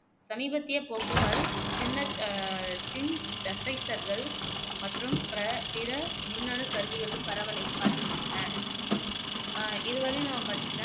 சமீபத்திய போக்குகள் சின்னத் சின்தசைசர்கள் மற்றும் ப்ர பிற மின்னணு கருவிகளின் பரவலைக் காட்டுகின்றன இதுவரையும்